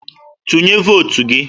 Tụnye votu gị!